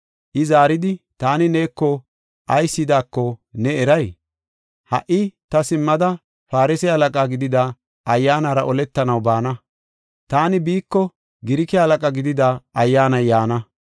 I zaaridi, “Taani neeko ayis yidaako ne eray? Ha77i ta simmada Farse halaqa gidida ayyaanara oletanaw baana; taani biiko Girike halaqa gidida ayyaanay yaana.